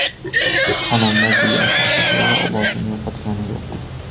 Xonanda Guli Asalxo‘jayeva ovozini yo‘qotgani yo‘q.